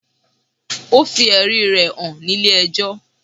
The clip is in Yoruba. Ó fi ẹ̀rí rẹ̀ hàn ní ilé ẹjọ́.